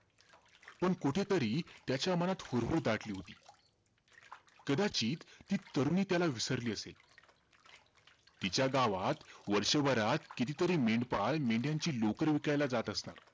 पण कुठेतरी त्याच्या मनात हुरहूर दाटली होती. कदाचित ती तरुणी त्याला विसरली असेल. तिच्या गावात, वर्षभरात, कितीतरी मेंढपाळ मेंढ्यांची लोकरं विकायला जात असणार.